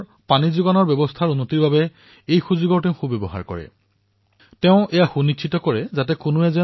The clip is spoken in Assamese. এই উপলক্ষে তেওঁ চহৰৰ পানী যোগানৰ নেটৱৰ্কো সংশোধন কৰিছিল